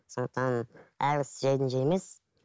сондықтан әрбір іс жайдан жай емес